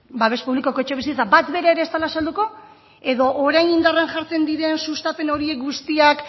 babes publikoko etxebizitza bat bera ere ez dela salduko edo orain indarrean jartzen diren sustapen horiek guztiak